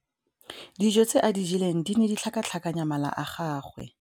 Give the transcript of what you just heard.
Dijô tse a di jeleng di ne di tlhakatlhakanya mala a gagwe.